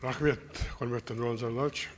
рахмет құрметті нұрлан зайроллаевич